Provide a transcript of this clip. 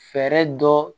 Fɛɛrɛ dɔ